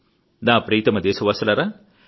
నా ప్రియతమ దేశవాసులారా